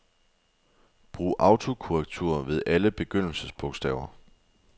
Brug autokorrektur ved alle begyndelsesbogstaver.